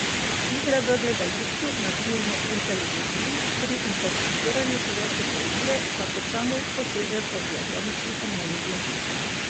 Igra v gledališču, na filmu in televiziji, pri interpretiranju slovenske poezije pa kot samouk poseže po diatonični harmoniki.